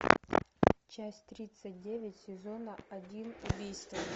часть тридцать девять сезона один убийство